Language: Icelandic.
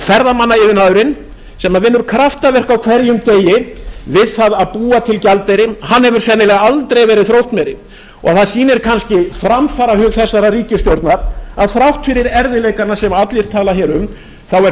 ferðamannaiðnaðurinn sem vinnur kraftaverk á hverjum degi við það að búa til gjaldeyri hefur sennilega aldrei verið þróttmeiri það sýnir kannski framfarahug þessarar ríkisstjórnar að þrátt fyrir erfiðleikana sem allir tala hér um er